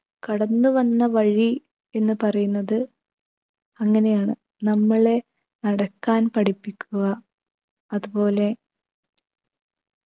കടന്നു വന്ന വഴി എന്ന് പറയുന്നത് അങ്ങനെയാണ്. നമ്മളെ നടക്കാൻ പഠിപ്പിക്കുക അതുപോലെ